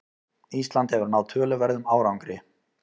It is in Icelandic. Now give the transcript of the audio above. Ísland hefur náð töluverðum árangri